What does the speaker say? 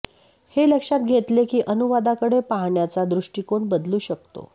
हे लक्षात घेतले की अनुवादाकडे पाहण्याचा दृष्टिकोन बदलू शकतो